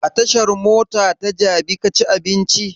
A tashan mota ta jabi ka ci abinci?